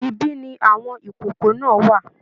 Ibi ni àwọn ìkòkò náà wà